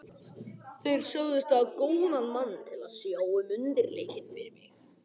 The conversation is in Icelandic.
Þeir sögðust hafa góðan mann til að sjá um undirleikinn fyrir mig.